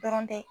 Dɔrɔn tɛ